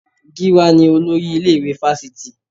Gíwá ni olórí ilé-ìwé Fásitì